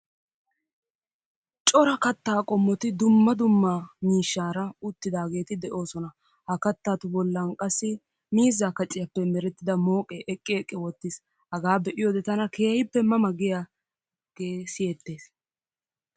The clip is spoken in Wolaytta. Cora kattaa qommoti dumma dumma miishshaara uttidaageeti de'oosona. Ha kattatu bollan qassi miizzaa kaciyaappe merettida mooqee eqqi eqqi uttis. Hagaa be"iyoode tana keehippe ma ma giyaagee siyettees.